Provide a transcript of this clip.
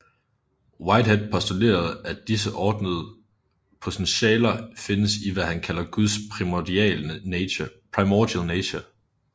Whitehead postulerede at disse ordnede potentialer findes i hvad han kalder guds primordial nature